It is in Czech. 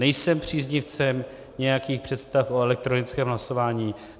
Nejsem příznivcem nějakých představ o elektronickém hlasování.